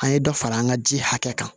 An ye dɔ fara an ka ji hakɛ kan